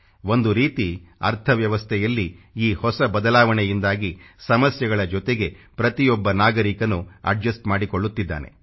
ಒಂದು ರೀತಿ ಅರ್ಥ ವ್ಯವಸ್ಥೆಯಲ್ಲಿ ಈ ಹೊಸ ಬದಲಾವಣೆಯಿಂದಾಗಿ ಸಮಸ್ಯೆಗಳ ಜೊತೆಗೆ ಪ್ರತಿಯೊಬ್ಬ ನಾಗರಿಕನು ಅಡ್ಜಸ್ಟ್ ಮಾಡಿಕೊಳ್ಳುತ್ತಿದ್ದಾನೆ